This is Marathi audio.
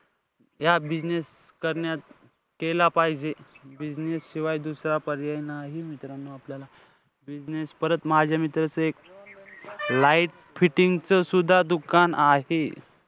या business करण्यात केला पाहिजे. Business शिवाय दुसरा पर्याय नाही मित्रांनो. business परत माझ्या मित्राचं एक light fitting च सुद्धा दुकान आहे.